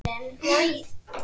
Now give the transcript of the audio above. Bólgnir eitlar